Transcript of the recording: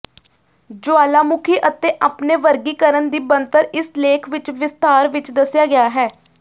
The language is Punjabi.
ਜੁਆਲਾਮੁਖੀ ਅਤੇ ਆਪਣੇ ਵਰਗੀਕਰਣ ਦੀ ਬਣਤਰ ਇਸ ਲੇਖ ਵਿਚ ਵਿਸਥਾਰ ਵਿੱਚ ਦੱਸਿਆ ਗਿਆ ਹੈ